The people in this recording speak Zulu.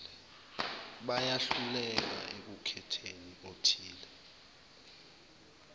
bayehluka ekukhetheni okuthile